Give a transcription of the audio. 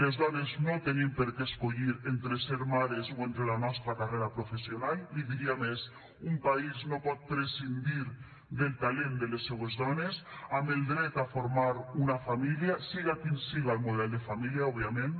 les dones no tenim per què escollir entre ser mares o la nostra carrera professional li diria més un país no pot prescindir del talent de les seues dones amb el dret a formar una família siga quin siga el model de família òbviament